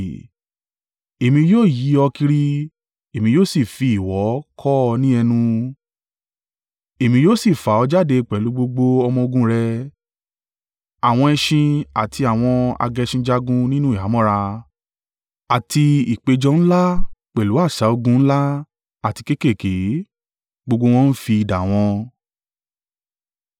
Èmi yóò yí ọ kiri, èmi yóò sì fi ìwọ̀ kọ́ ọ ní ẹnu, èmi yóò sì fà ọ́ jáde pẹ̀lú gbogbo ọmọ-ogun rẹ, àwọn ẹṣin àti àwọn agẹṣinjagun nínú ìhámọ́ra, àti ìpéjọ ńlá pẹ̀lú asà ogun ńlá àti kéékèèké, gbogbo wọn ń fi idà wọn.